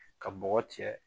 Ka bɔgɔ cɛ